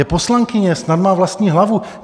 Je poslankyně, snad má vlastní hlavu.